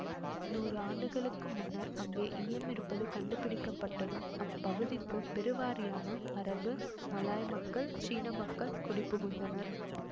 நூறு ஆண்டுகளுக்கு முன்னர் அங்கே ஈயம் இருப்பது கண்டுபிடிக்கப்பட்டதும் அப்பகுதிக்கு பெருவாரியான அரபு மலாய் மக்கள் சீன மக்கள் குடிபுகுந்தனர்